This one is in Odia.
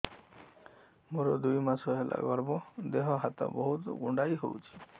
ମୋର ଦୁଇ ମାସ ହେଲା ଗର୍ଭ ଦେହ ହାତ ବହୁତ କୁଣ୍ଡାଇ ହଉଚି